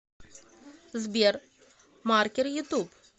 сбер маркер ютуб